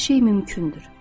Hər şey mümkündür.